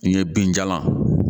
N ye binjalan